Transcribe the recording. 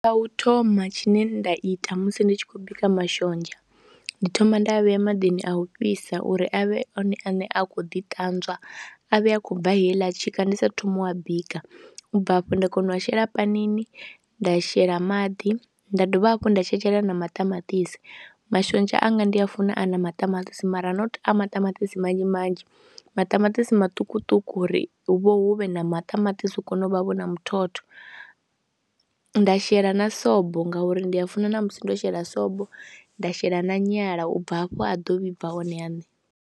Tsha u thoma tshine nda ita musi ndi tshi khou bika mashonzha ndi thoma nda a vhea maḓini a u fhisa uri a vhe one ane a khou ḓiṱanzwa, a vhe a khou bva heiḽa tshika ndi saathu thoma u a bika, u bva hafho nda kona u a shela panini nda shela maḓi nda dovha hafhu nda tshetshelela na maṱamaṱisi. Mashonzha anga ndi a funa a na maṱamaṱisi mara not a maṱamaṱisi manzhi manzhi, maṱamaṱisi maṱukuṱuku uri hu vha hu vhe na maṱamaṱisi u kone u vha vho na muthotho, nda shela na sobo ngauri ndi a funa ṋamusi nda shela sobo, nda shela na nyala u bva hafho a ḓo vhibva one aṋe.